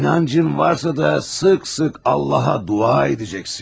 İnancın varsa da tez-tez Allaha dua edəcəksən.